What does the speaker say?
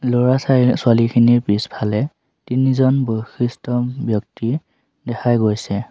ল'ৰা চাই ছোৱালীখিনিৰ পিছফালে তিনিজন বয়সিস্থ ব্যক্তি দেখা গৈছে।